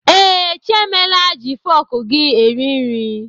Ee, Chiemela ji fọk gị eri nri.